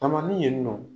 Tamali ye nin nɔ